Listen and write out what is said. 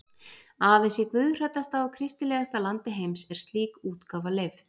Aðeins í guðhræddasta og kristilegasta landi heims er slík útgáfa leyfð.